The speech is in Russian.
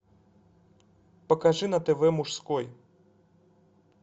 покажи на тв мужской